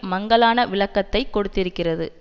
மங்கலான விளக்கத்தை கொடுத்திருக்கிறது